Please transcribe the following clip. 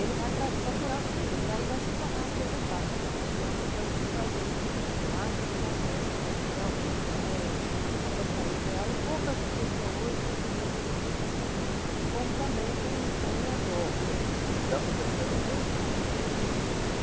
Ele vai para procurar o surubim e aí vai se tornar uma presa fácil. Então o Ibama proibiu. A gente acha que está certo, realmente não é a pescaria ideal e poucas pessoas hoje utilizam esse tipo de pescaria, como também tem tem anzol, e dá para pescar de anzol? Dá.